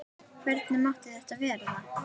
Hvernig mátti þetta verða?